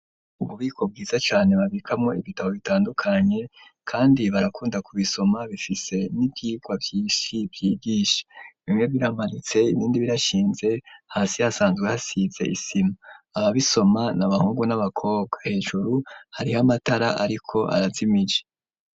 Ububiko bwiza cane, babikamo ibitabo bitandukanye, kandi barakunda ku bisoma bifise n'ivyigwa vyishi vyigisha ,bimwe biramanitse, ibindi birashinze hasi hasanzwe hasize isima, aba bisoma n'abahungu, n'abakobwa ,hejuru hariho amatara ariko arazimije.